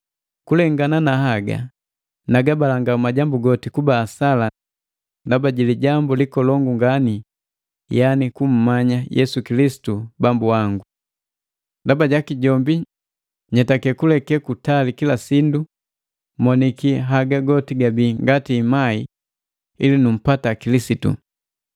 Kulekana na haga, nagabalanga majambu goti kuba asala ndaba jilijambu likolongu ngani yaani kummanya Yesu Kilisitu Bambu wangu. Ndaba jaki jombi nyetaki kuleke kutali kila sindu, moniki haga goti gabii ngati imai ili numpata Kilisitu,